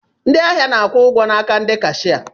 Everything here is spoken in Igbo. Ndịahia na-akwụ ụgwọ n'aka ndị kashia.